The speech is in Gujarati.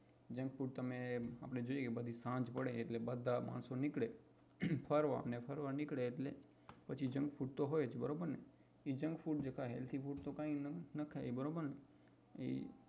junk food તમે આપડે જોઈએ કે સાંજ પડે બધા માણસો નીકળે ફરવા અને ફરવા નીકળે એટલે junk food તો હોય જ બરોબર ને એ junk food થાય healthy food થી કાય ન થાય